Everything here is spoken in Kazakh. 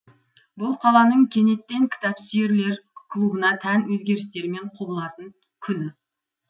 бұл қаланың кенеттен кітапсүйерлер клубына тән өзгерістермен құбылатын күні